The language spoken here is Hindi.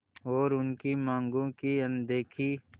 और उनकी मांगों की अनदेखी